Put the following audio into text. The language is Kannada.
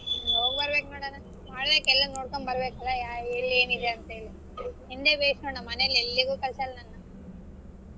ಹೊಗಬರಬೇಕ್ ನೋಡಣ್ಣ ಮಾಡ್ಬೇಕ್ ಎಲ್ಲಾ ನೋಡಕೊಂಡ್ ಬರಬೇಕ್ ಎಲ್ಲಿ ಏನಿದೆ ಅಂತ ಹೇಳಿ ನಿಂದೆ ಭೇಷ್ ನೋಡ್ ನಮ್ ಮನೇಲಿ ಎಲ್ಲಿಗೂ ಕಳಸಲ್ಲ ನನ್ನ.